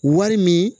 Wari min